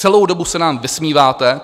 Celou dobu se nám vysmíváte.